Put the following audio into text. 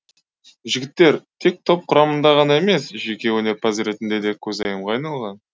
жігіттер тек топ құрамында ғана емес жеке өнерпаз ретінде де көзайымға айналған